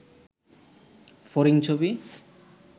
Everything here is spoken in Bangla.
ফড়িং ছবি